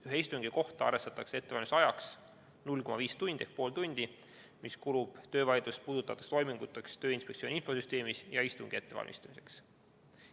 Ühe istungi kohta arvestatakse ettevalmistusajaks pool tundi, mis kulub töövaidlust puudutavateks toiminguteks Tööinspektsiooni infosüsteemis ja muuks istungi ettevalmistamiseks.